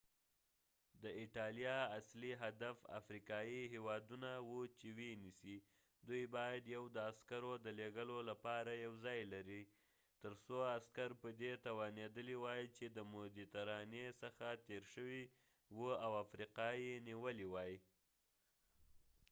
د ایټالیا اصلی هدف افریقایې هیوادونه و چې و یې نیسی دوي باید یو د عسکرو د لیږلو لپاره یو ځای لرلی تر څو عسکر په دي توانیدلی وای چې د مديترانی څخه تیر شوي و او افریقا یې نیولی وای